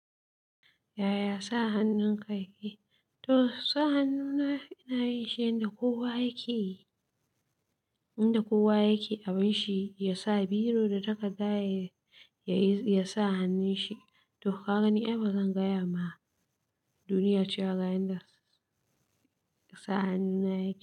Yaya sa hannunka yake? To sa hannu na, ina yi shi yanda kowa yake yi, inda kowa yake abin shi, ya sa biro da takarda ya ya sa hannun shi. To ka gani, ai ba zan gaya ma duniya cewa ga yanda sa hannuna yake.